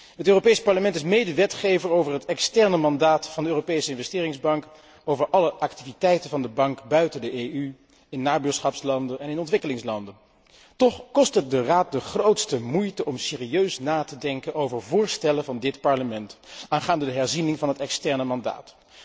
Het Europees Parlement is medewetgever voor het externe mandaat van de Europese Investeringsbank, voor alle activiteiten van de Bank buiten de EU, in nabuurschapslanden en in ontwikkelingslanden. Toch kost het de Raad de grootste moeite om serieus na te denken over voorstellen van dit Parlement aangaande de herziening van het externe mandaat.